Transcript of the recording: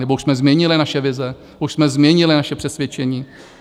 Nebo už jsme změnili naše vize, už jsme změnili naše přesvědčení?